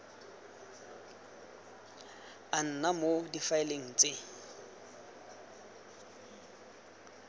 a nna mo difaeleng tse